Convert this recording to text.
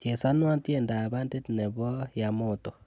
Chesanwon tyendab bandit nebo yamoto